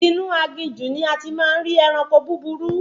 Inú aginjù ní a ti máa ń rí ẹranko búburú